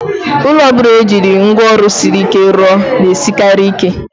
Ụlọ ọbụla e jiri ngwa ọrụ siri ike rụọ na-esikarị ike.